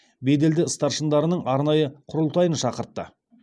беделді старшындарының арнайы құрылтайын шақыртты